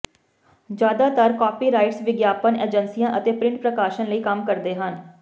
ਜ਼ਿਆਦਾਤਰ ਕਾਪੀਰਾਈਟਸ ਵਿਗਿਆਪਨ ਏਜੰਸੀਆਂ ਅਤੇ ਪ੍ਰਿੰਟ ਪ੍ਰਕਾਸ਼ਨ ਲਈ ਕੰਮ ਕਰਦੇ ਹਨ